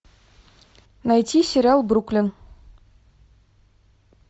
найти сериал бруклин